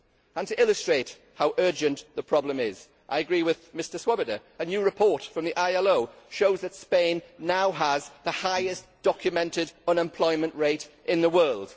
And to illustrate how urgent the problem is, I agree with Mr Swoboda, a new report from the ILO shows that Spain now has the highest documented unemployment rate in the world.